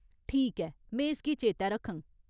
ठीक ऐ। में इसगी चेतै रक्खङ।